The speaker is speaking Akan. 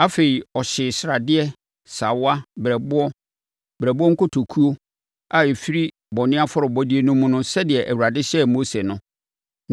Afei, ɔhyee sradeɛ, sawa, berɛboɔ, berɛboɔ nkotokuo a ɛfiri bɔne afɔrebɔdeɛ no mu sɛdeɛ Awurade hyɛɛ Mose no.